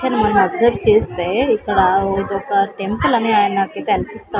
ఇక్కడ నేను అబ్సర్వ్ చేస్తే ఇక్కడ ఇదొక టెంపుల్ అని నాకైతే అనిపిస్తుంది.